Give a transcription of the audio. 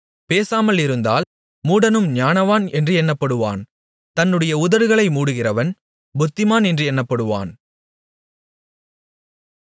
பேசாமலிருந்தால் மூடனும் ஞானவான் என்று எண்ணப்படுவான் தன்னுடைய உதடுகளை மூடுகிறவன் புத்திமான் என்று எண்ணப்படுவான்